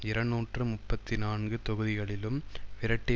இருநூற்று முப்பத்தி நான்கு தொகுதிகளிலும் விரட்டி